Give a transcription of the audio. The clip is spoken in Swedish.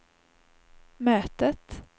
mötet